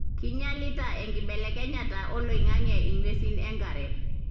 kinyialita enkibelekenyata oloingange ingwesin enkare.